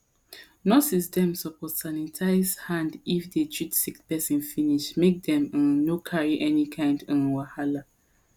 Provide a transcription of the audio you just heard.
nurse dem suppose sanitize hand if they treat sick person finish make dem um no carry any kind um wahala